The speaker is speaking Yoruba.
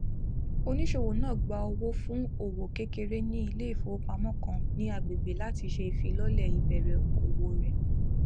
oníṣòwò náà gba owó fún òwò kékeré ní ilé ifowópamọ kan ni agbègbè láti ṣe ifilọlẹ ìbẹrẹ òwò rẹ